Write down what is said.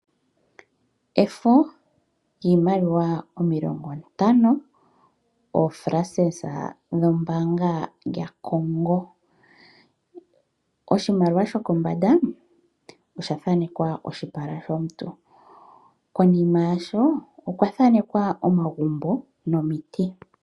Efo lyiimaliwa omilongo ntano oFrancs dhombanga yaCongo. Oshimaliwa shokombanda oshathanekwa oshipala shomuntu. Konima yasho okwa thanekwa omagumbo nomiiti.